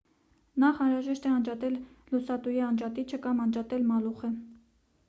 նախ անհրաժեշտ է անջատել լուսատուի անջատիչը կամ անջատել մալուխը